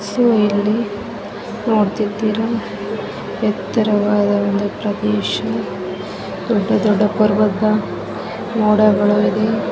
ನೀವು ಇಲ್ಲಿ ನೋಡ್ತಿದ್ದೀರಾ ಎತ್ತರವಾದ ಒಂದು ಪ್ರದೇಶ ದೊಡ್ಡ ದೊಡ್ಡ ಪರ್ವತ ಮೋಡಗಳು ಇದೆ.